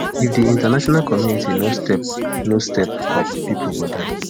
if di international community no step no step up pipo go die